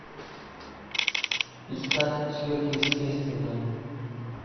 искать сверхъестественное